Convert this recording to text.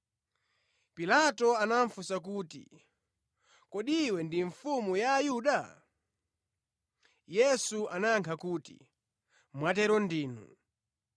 Pilato anafunsa kuti, “Kodi Iwe ndi Mfumu ya Ayuda?” Yesu anayankha kuti, “Mwatero ndinu.”